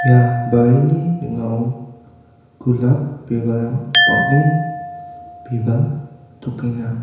ia barini ning·ao golap bibalrang bang·en bibaltokenga.